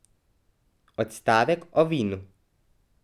Odstavek o vinu.